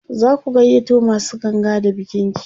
zaku gayyato masu ganga da bikin ki?